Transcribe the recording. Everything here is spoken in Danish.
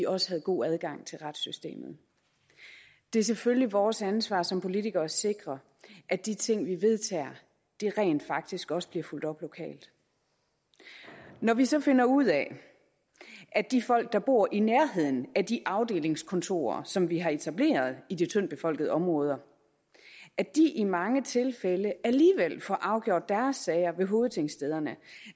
også havde god adgang til retssystemet det er selvfølgelig vores ansvar som politikere at sikre at de ting vi vedtager rent faktisk også bliver fulgt op lokalt når vi så finder ud af at de folk der bor i nærheden af de afdelingskontorer som vi har etableret i de tyndt befolkede områder i mange tilfælde alligevel får afgjort deres sager ved hovedtingstederne